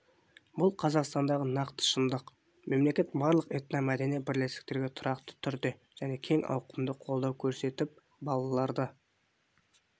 бұл қазақстандағы нақты шындық мемлекет барлық этномәдени бірлестіктерге тұрақты түрде және кең ауқымды қолдау көрсетіп балаларды